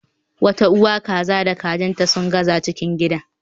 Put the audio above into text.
Wata uwa kaza da kajin ta sun zaga cikin gidan